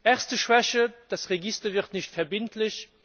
Erste Schwäche Das Register wird nicht verbindlich.